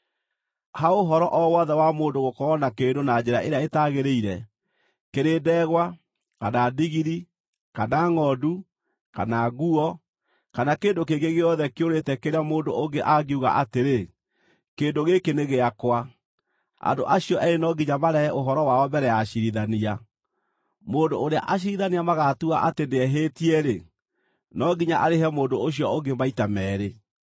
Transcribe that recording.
Ha ũhoro o wothe wa mũndũ gũkorwo na kĩndũ na njĩra ĩrĩa ĩtagĩrĩire, kĩrĩ ndegwa, kana ndigiri, kana ngʼondu, kana nguo, kana kĩndũ kĩngĩ gĩothe kĩũrĩte kĩrĩa mũndũ ũngĩ angiuga atĩrĩ, ‘Kĩndũ gĩkĩ nĩ gĩakwa,’ andũ acio eerĩ no nginya marehe ũhoro wao mbere ya aciirithania. Mũndũ ũrĩa aciirithania magatua atĩ nĩehĩtie-rĩ, no nginya arĩhe mũndũ ũcio ũngĩ maita meerĩ.